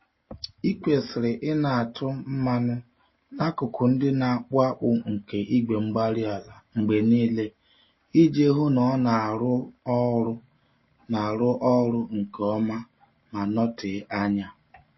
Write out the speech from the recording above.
Ị kwesịrị ịna-atụ mmanụ n'akụkụ ndị na-akpụ akpụ nke igwe-mgbárí-ala mgbe niile iji hụ na ọ na-arụ ọrụ na-arụ ọrụ nke ọma ma nọtee ányá